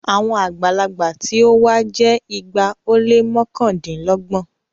Àwọn àgbàlagbà tí o wa jẹ igba o le mọkandinlọgbọn